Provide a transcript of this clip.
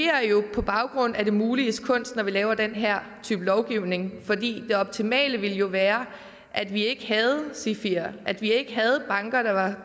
på baggrund af det muliges kunst når vi laver den her type lovgivning fordi det optimale jo ville være at vi ikke havde sifier at vi ikke havde banker der var